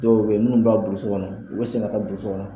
Dɔw bɛ ye minnu b'a burusi kɔnɔ ulu bɛ se ka taa burusi kɔnɔ.